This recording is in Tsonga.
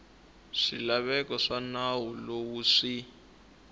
swilaveko swa nawu lowu swi